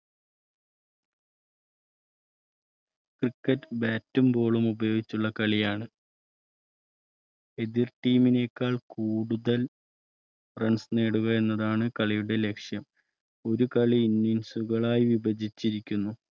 Criket bat, boll ളും ഉപയോഗിച്ചുള്ള കളിയാണ് എതിർ ടീമിനേക്കാൾ കൂടുതൽ Runs നേടുക എന്നതാണ് കളിയുടെ ലക്ഷ്യം ഒരു കളി Innings കളായി വിഭജിച്ചിരിക്കുന്നു